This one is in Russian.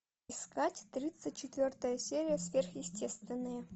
искать тридцать четвертая серия сверхъестественное